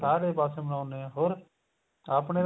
ਸਾਰੇ ਪਾਸੇ ਮਨਾਉਂਦੇ ਏ ਹੋਰ ਆਪਣੇ ਤੇ